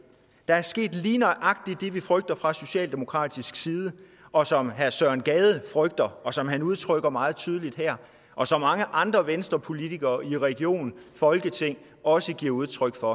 der er sket lige nøjagtig det vi frygtede fra socialdemokratisk side og som herre søren gade frygter og som han udtrykker meget tydeligt her og som mange andre venstrepolitikere i region og folketing også giver udtryk for